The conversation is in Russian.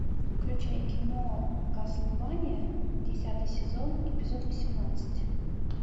включай кино кастлвания десятый сезон эпизод восемнадцать